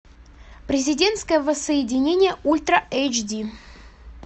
президентское воссоединение ультра эйч ди